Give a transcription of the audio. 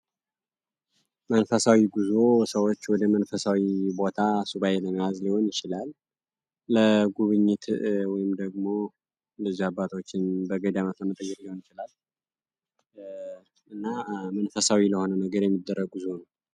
መንፈሳዊ ጉዞ ሰዎች ወደ መንፈሳዊ ቦታ ሱባኤውን ለመያዝ ሊሆን ይችላል ወይም ደግሞ አባቶች እንደገዳማት ለመጠየቅ ሊሆን ይችላል እና መንፈሳዊ ለሆነ ነገር የሚደረጉ ጉዞ ነው።